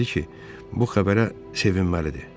Hətta dedi ki, bu xəbərə sevinməlidir.